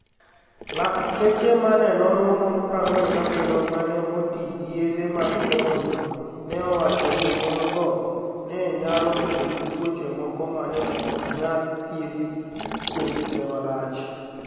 Laktache ma ni e onono moni 47 ma ni e oti gi yedhe mag komo niyuol, ni e owacho nii moni-go ni e niyalo bedo gi tuoche moko ma ni e ok niyal thiedhi kuom kinide malach.